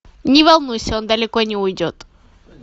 не волнуйся он далеко не уйдет